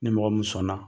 Ni mɔgɔ min sɔnna